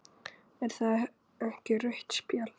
Er það ekki rautt spjald?